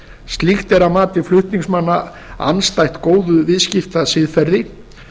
slíkt er að mati flutningsmanna andstætt góðu viðskiptasiðferði